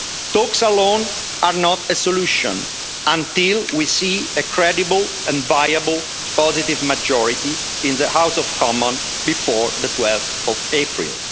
Talks alone are not a solution until we see a credible and viable positive majority in the House of Commons before 12 April.